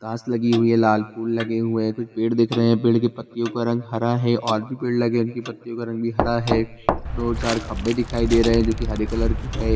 घास लगी हुई है लाल फूल लगे हुए हैं कुछ पेड़ दिख रहे है पेड़ की पत्तियों का रंग हरा है और भी पेड़ लगे हुए है उनके पत्तियों का रंग भी हरा है दो-चार खंभे दिखाई दे रहे है जो कि हरे कलर के है।